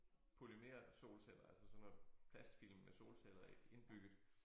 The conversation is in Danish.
Polymersolceller altså sådan noget plastfilm med solceller indbygget